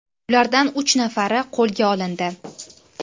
Ulardan uch nafari qo‘lga olindi.